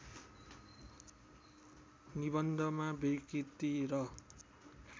निबन्धमा विकृति र